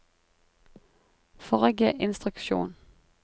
forrige instruksjon